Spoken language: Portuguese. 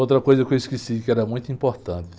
Outra coisa que eu esqueci, que era muito importante.